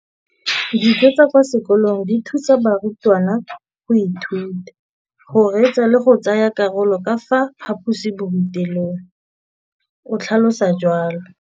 Dijo tsa kwa sekolong dithusa barutwana go ithuta, go reetsa le go tsaya karolo ka fa phaposiborutelong, o tlhalositse jalo.